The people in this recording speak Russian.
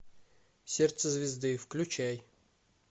сердце звезды включай